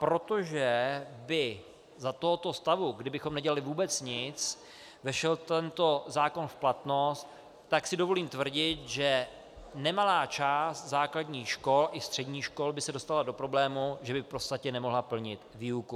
Protože by za tohoto stavu, kdybychom nedělali vůbec nic, vešel tento zákon v platnost, tak si dovolím tvrdit, že nemalá část základních škol i středních škol by se dostala do problému, že by v podstatě nemohla plnit výuku.